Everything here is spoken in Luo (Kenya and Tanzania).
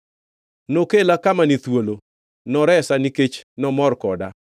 Nokela kama ni thuolo; noresa nikech nomor koda.